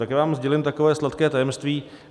Tak já vám sdělím takové sladké tajemství.